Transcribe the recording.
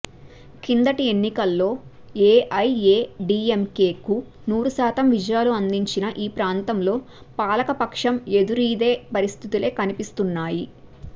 కిందటి ఎన్నికల్లో ఏఐఏడీఎంకేకు నూరు శాతం విజయాలు అందించిన ఈ ప్రాంతంలో పాలకపక్షం ఎదురీదే పరిస్థితులే కనిపిస్తున్నాయి